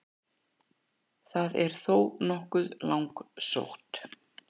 það er þó nokkuð langsótt